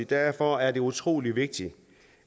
derfor er det utrolig vigtigt